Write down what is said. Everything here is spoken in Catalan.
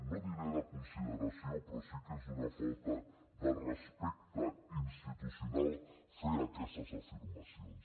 no diré de consideració però sí que és una falta de respecte institucional fer aquestes afirmacions